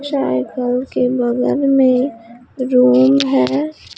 Cycle के बगल में रूम है।